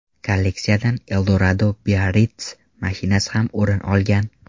Kolleksiyadan Eldorado Biarritz mashinasi ham o‘rin olgan.